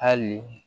Hali